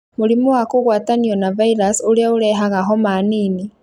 Mũrimũ wa kũgwatanio na virus ũrĩa ũrehaga homa nini